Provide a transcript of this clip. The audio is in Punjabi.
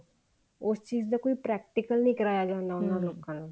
ਉਸ ਚੀਜ਼ ਦਾ ਕੋਈ practice ਨੀ ਕਰਵਾਇਆ ਜਾਂਦਾ ਉਹਨਾ ਲੋਕਾ ਨੂੰ